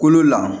Kolo la